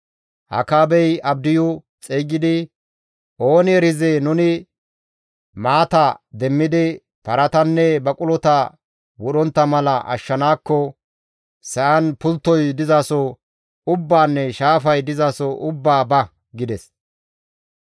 Akaabey Abdiyu xeygidi, «Ooni erizee nuni maata demmidi paratanne baqulota wodhontta mala ashshanaakko sa7an pulttoy dizaso ubbaanne shaafay dizaso ubbaa ba» gides.